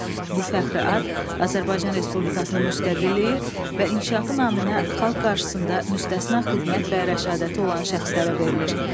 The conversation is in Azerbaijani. Bu fəxri ad Azərbaycan Respublikasının müstəqilliyi və inkişafı naminə xalq qarşısında müstəsna xidmət və rəşadəti olan şəxslərə verilir.